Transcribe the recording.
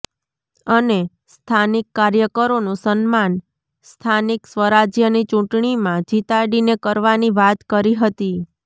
અને સ્થાનિક કાર્યકરોનુ સન્માન સ્થાનિક સ્વરાજ્યની ચુટણીમાં જીતાડીને કરવાની વાત કરી હતી